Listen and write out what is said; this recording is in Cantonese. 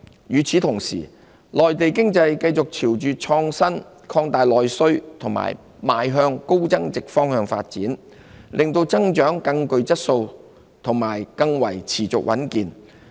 與此同時，內地經濟繼續朝着創新、擴大內需和邁向高增值的方向發展，令增長更具質素及更持續穩健。